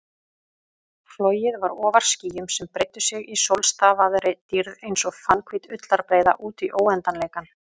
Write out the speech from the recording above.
Flogið var ofar skýjum sem breiddu sig í sólstafaðri dýrð einsog fannhvít ullarbreiða útí óendanleikann.